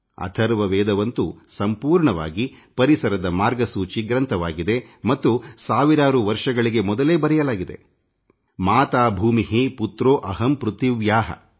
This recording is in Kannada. ಅಥರ್ವ ವೇದ ಸಂಪೂರ್ಣವಾಗಿ ಪರಿಸರದ ಮಾರ್ಗಸೂಚಿ ಗ್ರಂಥವಾಗಿದೆ ಮತ್ತು ಸಾವಿರಾರು ವರ್ಷಗಳಿಗೆ ಮೊದಲೇ ಅದರಲ್ಲಿ ಭೂಮಿ ತಾಯಿ ನಾನು ಅವಳ ಮಗ ಎಂದು ಹೇಳಲಾಗಿದೆ